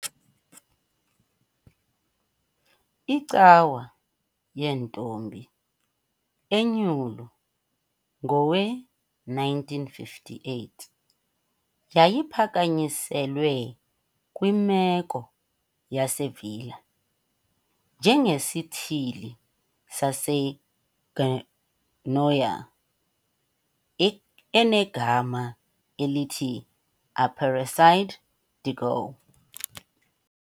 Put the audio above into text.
icawa yeNtombi Enyulu Ngowe-1958 yyayiphakanyiselwe kwimeko yaseVila, njengesithili saseGoiânia enegama elithi Aparecida de Goiás.